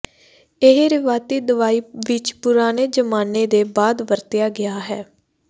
ਇਹ ਰਵਾਇਤੀ ਦਵਾਈ ਵਿੱਚ ਪੁਰਾਣੇ ਜ਼ਮਾਨੇ ਦੇ ਬਾਅਦ ਵਰਤਿਆ ਗਿਆ ਹੈ